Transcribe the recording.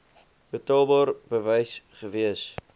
betaalbaar bewys gewees